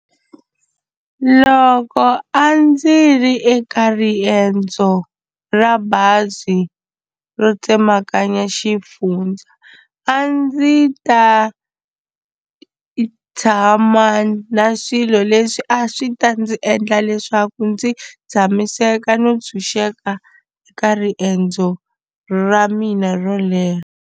Loko a ndzi ri eka riendzo ra bazi ro tsemakanya xifundza a ndzi ta i tshama na swilo leswi a swi ta ndzi endla leswaku ndzi tshamiseka no ntshunxeka eka riendzo ra mina ro leha.